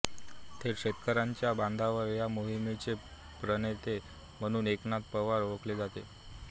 थेट शेतकऱ्यांच्या बांधावर या मोहीमेचेे प्रणेेेतेेे म्हणून एकनाथ पवार ओळखले जाते